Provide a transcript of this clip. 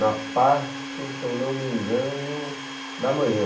Na parte, se eu não me engano, da manhã.